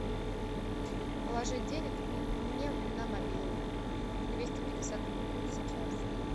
положить денег мне на мобилу двести пятьдесят рублей сейчас